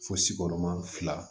Fosi kɔrɔma